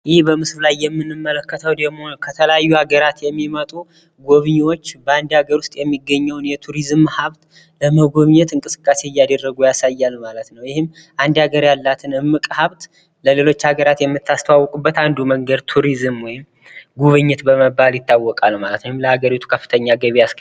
ይህ በምስሉ ላይ የምንመለከተው ደግሞ ከተለያዩ ሀገራት የሚመጡ ጎብኘዎች በአንድ አገር ውስጥ የሚገኘውን የቱሪዝም ሀብት ለመጎብኘት እንቅሰቃሴ እያደረጉ ያሳያል ማለት ነው። ይህም አንድ ሀገር ያላትን እምቅ ሀብት ለሌሎች ሀገራት የምታስተዋውቅበት አንዱ መንገድ ቱሪዝም ወይም ጉብኝት በመባል ይታወቃል ማለት ነው። ወይም ለሀገሪቱ ከፍተኛ ገቢ ያስገኛል ማለት ነው።